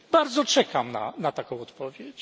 Bardzo czekam na taką odpowiedź.